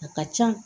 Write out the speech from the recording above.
A ka ca